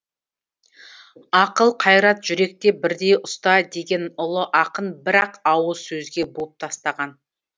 ақыл қайрат жүректе бірдей ұста деген ұлы ақын бір ақ ауыз сөзге буып тастаған